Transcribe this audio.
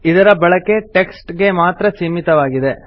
ಇದರ ಬಳಕೆ ಟೆಕ್ಸ್ಟ್ ಗೆ ಮಾತ್ರ ಸೀಮಿತವಾಗಿದೆ